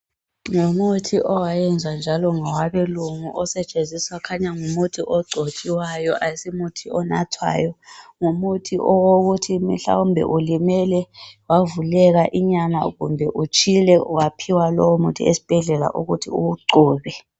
Ngumuthi owayenzwa njalo ngabelungu osetshenziswa kukhanya ngumuthi ogcotshiwayo asimuthi onathwayo ngumuthi wokuthi mhlawumbe ulimele wavuleka inyama kumbe utshile waphiwa lowomuthi esibhedlela ukuthi uwugcobe.